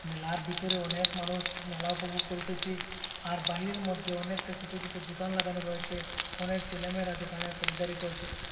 মেলার ভিতরে অনেক মানুষ মেলা উপভোগ করিতেসি আর বাহিরের মধ্যে অনেকটা ছোট ছোট দোকান লাগানো রয়েছে অনেক ছেলেমেয়েরা দোকানে খরিদ্দারী করছে।